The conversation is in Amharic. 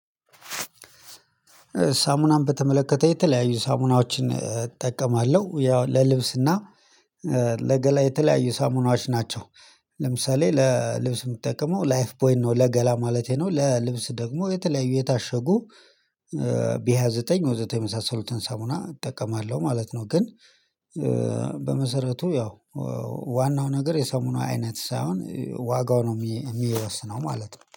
ሳሙናን በተመለከተ የተለያዩ ሳሙናዎችን እጠቀማለሁ ያው ለልብስና ለገላ የተለያዩ ሳሙናዎች ናቸው። ለምሳሌ ለልብስ የምትጠቀመው ላይፍ ቦይን ነው ለገላ ማለቴ ነው። ለልብስ ደግሞ የተለያዩ የታሸጉ ቢሃ ዘጠኝ ወዘተ የመሳሰሉትን ሳሙና እጠቀማለሁ ማለት ነው። ግን በመሰረቱ ያው ዋናው ነገር የሳሙና አይነት ሳይሆን ዋጋው ነው የሚወስነው ማለት ነው